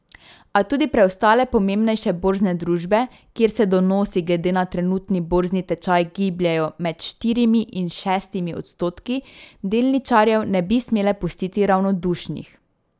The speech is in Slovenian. A tudi preostale pomembnejše borzne družbe, kjer se donosi glede na trenutni borzni tečaj gibljejo med štirimi in šestimi odstotki, delničarjev ne bi smele pustiti ravnodušnih.